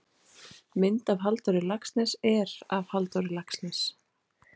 Mynd af Halldóri Laxness er af Halldór Laxness.